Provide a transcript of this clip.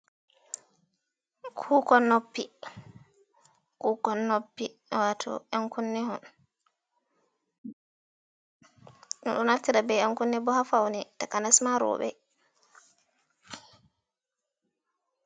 Kukkon noppi, kukkon nopi wato yen kunne bedo naftira be yen kunne bo ha faune takanesma robe.